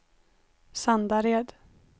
Sandared